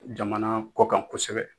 Jamana kɔ kan kosɛbɛ